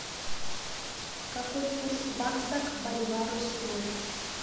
какой курс бакса к боливару сегодня